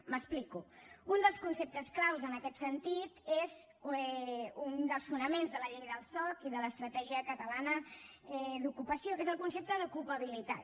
m’explico un dels conceptes clau en aquest sentit és un dels fonaments de la llei del soc i de l’estratègia catalana per a l’ocupació que és el concepte d’ ocupabilitat